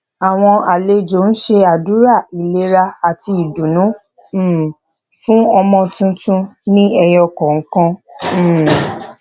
àwọn àlejò ń ṣe àdúrà ìlera àti ìdùnnú um fún ọmọ tuntun ní ẹyọ kọọkan um